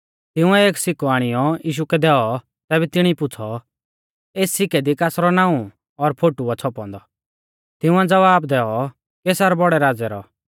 तिंउऐ एक सिक्कौ आणियौ यीशु कै दैऔ तैबै तिणी पुछ़ौ एस सिक्कै दी कासरौ नाऊं और फोटु आ छ़ौपौ औन्दौ तिंउऐ ज़वाब दैऔ कैसर बौड़ै राज़ै रौ